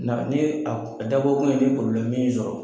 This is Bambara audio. Na ni a dabɔkun ye ni y'i sɔrɔ.